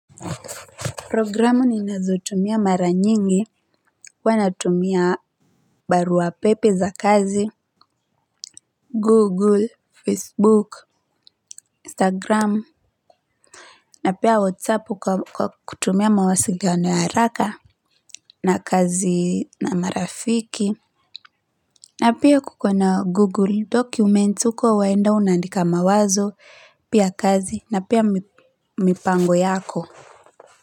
Programu ninazo tumia mara nyingi huwa natumia barua pepe za kazi, google, facebook, instagram na pia WhatsApp kwa kutumia mawasiliano ya haraka na kazi na marafiki na pia kuko na Google documents huko waenda una andika mawazo pia kazi na pia mipango yako kwa hivyo.